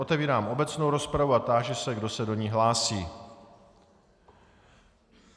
Otevírám obecnou rozpravu a táži se, kdo se do ní hlásí.